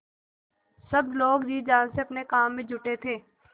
सब लोग जी जान से अपने काम में जुटे थे